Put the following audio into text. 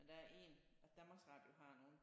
Men der er en Danmarks Radio har nogle